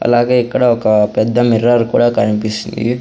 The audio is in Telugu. అలాగే ఇక్కడ ఒక పెద్ద మిర్రర్ కూడా కనిపిస్తుంది.